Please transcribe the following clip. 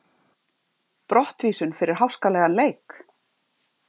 Brottvísun fyrir háskalegan leik?